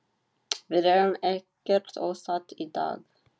Við erum ekkert ósátt í dag.